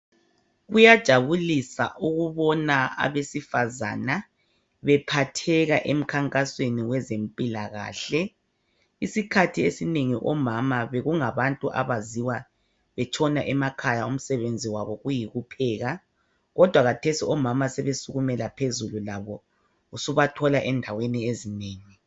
Kuyajabulisa ukubona abesifazana bephatheka emkhankasweni wezempilakahle. Isikhathi esinengi omama bekungabantu abaziwa betshona emakhaya umsebenzi wabo kuyikupheka, kodwa kathesi omama sebesukumela phezulu labo, usubathola endaweni ezinengi.